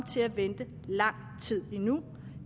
til at vente lang tid endnu